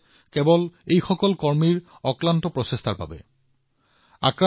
নমুনা সংগ্ৰহৰ কামত বহু কেইজন ফ্ৰণ্টলাইন কৰ্মী নিয়োজিত হৈ আছে